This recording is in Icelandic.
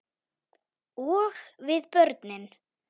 Og við börnin.